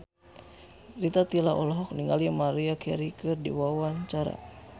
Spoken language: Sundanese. Rita Tila olohok ningali Maria Carey keur diwawancara